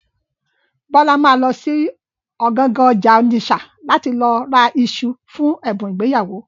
Bọ́lá ma lọ sí ọ̀gangan ọjà Ònìṣà láti lọ ra iṣu fún ẹ̀bùn ìgbéyàwó.